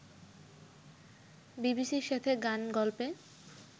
বিবিসির সাথে গান-গল্পে